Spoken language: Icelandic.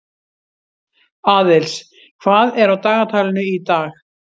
Aðils, hvað er á dagatalinu í dag?